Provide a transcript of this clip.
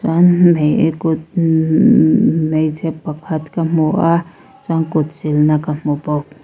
kut hmeichhe pakhat ka hmu a chuan kut silna ka hmu bawk.